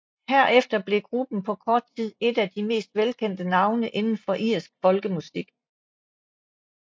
Herefter blev gruppen på kort tid et af de mest velkendte navne inden for irsk folkemusik